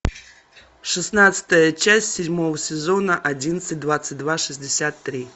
шестнадцатая часть седьмого сезона одиннадцать двадцать два шестьдесят три